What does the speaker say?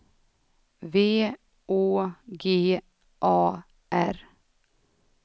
V Å G A R